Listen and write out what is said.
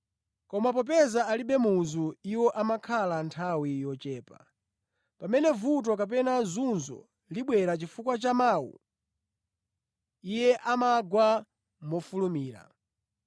Koma popeza alibe muzu, iwo amakhala nthawi yochepa. Pamene vuto kapena zunzo libwera chifukwa cha mawu, iye amagwa mofulumira.